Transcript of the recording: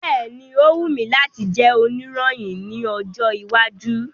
Bẹ́ẹ̀ni, o wù mí láti jẹ́ òníròyìn ní ọjọ́ iwájú.